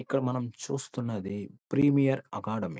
ఇక్కడ మనం చూస్తున్నది ప్రీమియర్ అకాడమీ .